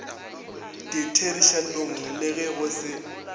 ditherišanong le ge go se